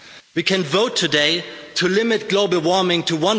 We can vote today to limit global warming to